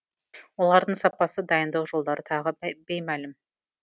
олардың сапасы дайындау жолдары тағы беймәлім